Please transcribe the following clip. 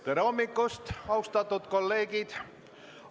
Tere hommikust, austatud kolleegid!